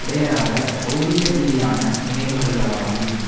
இடையராத பெளதீகரீதியான நினைவூட்டல்களாகும்